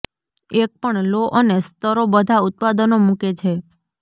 એક પણ લો અને સ્તરો બધા ઉત્પાદનો મૂકે છે